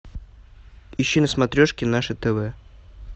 ищи на смотрешке наше тв